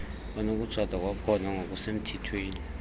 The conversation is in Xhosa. banokutshata kwakhona ngokusemthethweni